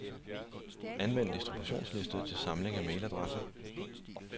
Anvend distributionsliste til samling af mailadresser.